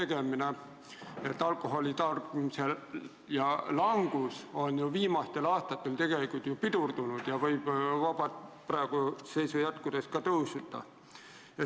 Ent alkoholi tarbimise langus on viimastel aastatel pidurdunud ja praeguse seisu jätkudes võib tarbimine hoopis tõusta.